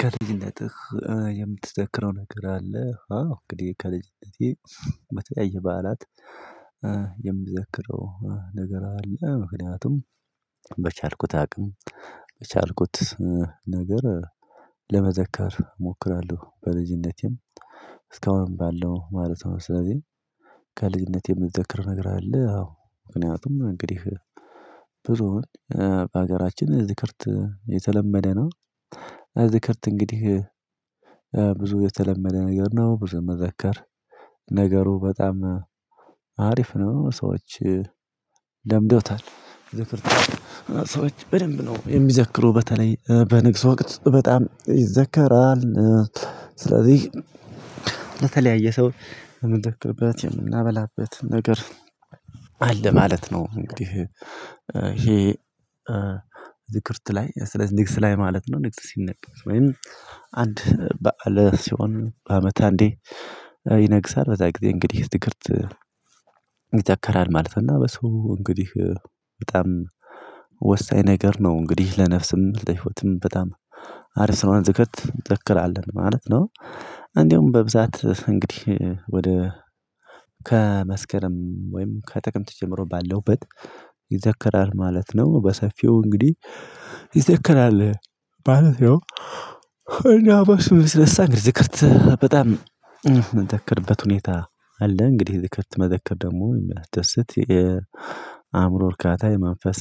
ከልጅነትህ የምትዘክረው ነገር አለ? አዎ እንግዲህ ከልጅነቴ በተለያየ በዓላት የምዘክረው ነገር አለ ምክንያቱም በቻልኩት አቅም የቻልኩት ነገር ለመዘከር እሞክራለሁ። በልጅነቴም ባለው ማለት ነው። ስለዚህ ከልጅነቴ የምዘክር ነገር አለ። አዎ ምክንያቱም እንግዲህ ብዙዉን በሀገራችን ዝክርት የተለመደ ነው። ዝክርት እንግዲህ ብዙ የተለመደ ነገር ነው ብዙ የማዘከር ነገሩ በጣም አሪፍ ነው። ሰዎች ለምደውታል ዝክርት ሰዎች በደንብ ነው የሚዘክሩ በተለይ በንግስ ወቅት በጣም ይዘከራል። ስለዚህ ሰው የምንዘክርበት የምናበላበት ነገር አለ ማለት ነው። እንግዲህ ይሄ ዝክርት ላይ ስለዚህ ንግስ ላይ ማለት ነው ንግስ ሲነገስ ወይም በዓል ሲሆን በአመት አንዴ ይነግሳል። በዛ ጊዜ እንግዲህ ዝክርት ይተክራል ማለት እና በሰው እንግዲህ በጣም ወሳኝ ነገር ነው። እንግዲህ ለነፍስም ለህይወትም በጣም አሪፍ ስለሆነ ዝክርት እንዘክራለን ማለት ነው። እንደውም በብዛት እንግዲህ ወደ ከመስከረም ወይም ከጥቅምት ጀምሮ ባሉበት ማለት ነው በሰፊው እንግዲህ ይዘከራል ማለት ነው። በሱ የተነሳ እንግዲህ ዝክርት በጣም የምዘክርበት ሁኔታ አለ እንግዲህ ዝክርት መዘከር ደግሞ የሚያስደስት የአእምሮ እርካታ የመንፈስ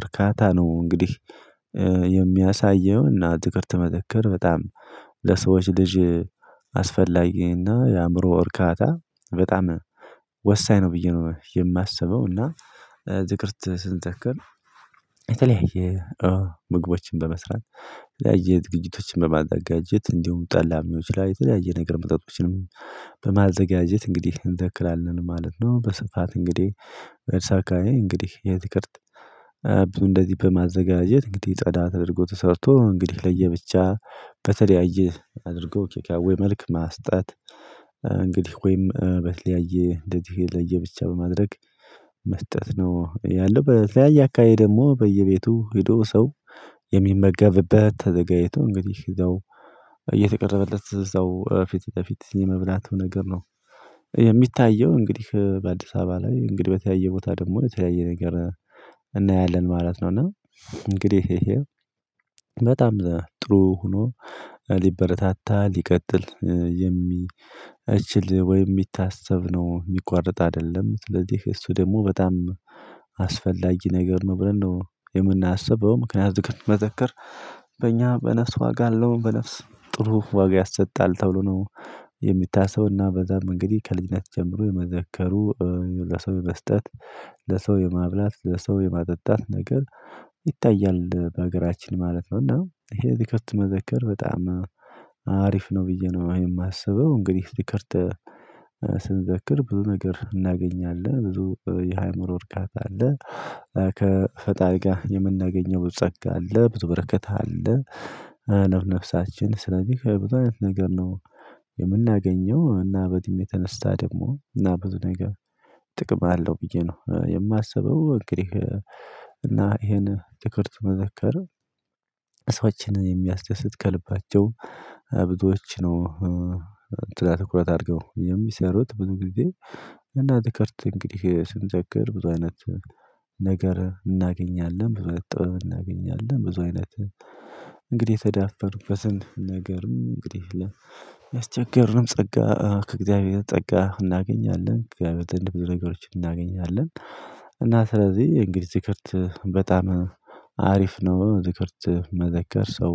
እርካታ ነው። እንግዲህ የሚያሳየው እና ትዥክርት መዘከር በጣም ለሰዎች ልጅ አስፈላጊና የአእምሮ እርካታ በጣም ወሳኝ ነው ብዬ ነው። የማስበው እና ዝክርት ስንዘክር የተለያየ ምግቦችን በመስራት የተለያየ ዝግቶችን በማዘጋጀት እንዲሁም ጠላም ሊሆን የተለያየ ነገር መጠጦችንም በማዘጋጀት እንግዲህ እንዘክራለን ማለት ነው። በስፋት እንግዲህ እርሳካዬ እንግዲህ የዝክርት ብዙ እንደዚህ በማዘጋጀት እንግዲህ ጸዳ ተደርጎ ተሰርቶ እንግዲህ ለየብቻ በተለያየ አድርጎ ኬካዌ መልክ ማስጣት እንግዲህ ወይም በተለያየ እንደዚህ ለየብቻ በማድረግ መስጠት ነው። ያለው በተለያየ አካባቢ ደግሞ በየቤቱ ሄዶ ሰው የሚመገብበት ተዘጋጅቶ እንግዲህ እዛው እየተቀረበለት እዛው ፊት ለፊት የመብላቱ ነገር ነው የሚታየው እንግዲህ በአዲስ አበባ ላይ እንግዲህ በተያየ ቦታ ደግሞ የተያየ ነገር እናያለን ማለት ነው። እና እንግዲህ በጣም ጥሩ ሆኖ ሊበረታታ ሊቀጥል የሚችል ወይም የሚታሰብ ነው የሚቋርጥ አይደለም ስለዚህ እሱ ደግሞ በጣም አስፈላጊ ነገር ነው ብለን ነው የምናስበው። ምክንያቱም መዘከር በእኛ በነፍስ ዋጋ አለው በነፍስ ጥሩ ዋጋ ያሰጣል ተብሎ ነው የሚታሰው እና በዛም እንግዲህ ከልጅነት ጀምሮ የመዘከሩ ለሰው የመስጠት ለሰው የማብላት ለሰው የማጠጣት ነገር ይታያል በሀገራችን ማለት ነው። እና ይሄ ዝክርት መዘከር በጣም አሪፍ ነው ብዬ ነው የማስበው። እንግዲህ ዝክርት ስንዘክር ብዙ ነገር እናገኛለን ብዙ የሃይምሮ እርካታ አለ ከፈጣሪ ጋር የምናገኘው ብዙ ፀጋ አለ ብዙ በረከት አለ። ነፍሳችን ስለዚህ ከብዙ አይነት ነገር ነው የምናገኘው እና በእድሜ የተነሳ ደግሞ እና ብዙ ነገር ጥቅም አለው ብዬ ነው የማስበው። እንግዲህ እና ይሄን ዝክርት መዘከር ሰዎችን የሚያስደስት ከልባቸው ብዙዎች ነው ጥላ ትኩረት አድርገው የሚሰሩት ብዙ ጊዜ እና ዝክርት እንግዲህ ስንዘክር ብዙ አይነት እናገኛለን። ብዙ አይነት ጥበብ እናገኛለን ብዙ አይነት እንግዲህ ተዳፈርንበትን ነገርም እንግዲህ ለሚያስቸገርንም ፀጋ ከእግዚአብሔር ፀጋ እናገኛለን እግዚአብሔር ዘንድ ብዙ አይነት ነገሮችን እናገኛለን። እና ስለዚህ እንግዲህ ዝክርት በጣም አሪፍ ነው። ዝክርት መዘከር ሰው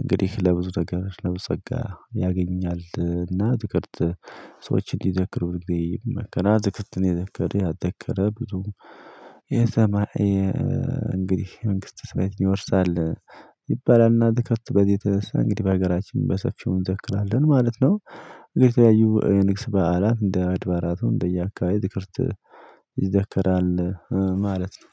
እንግዲህ ለብዙ ነገሮች ለብዙ ጸጋ ያገኛል እና ዝክርት ሰዎችን እንዲዘክሩ ይመከራ ዝክርትን የዘከረ ያዘከረ ብዙ እንግዲህ መንግስተ ሰማያትን ይወርሳል። ይባላልና ዝክርት በዚህ እንግዲህ በሀገራችን በሰፊው እንዘክራለን ማለት ነው። የተለያዩ የንግስ በዓላት እንደ አድባራቱ እንደየአካባቢ ዝክርት ይዘከራል ማለት ነው።